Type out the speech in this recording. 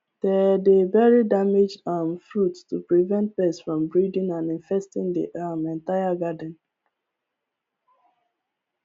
they dey bury damaged um fruits to prevent pests from breeding and infesting the um entire garden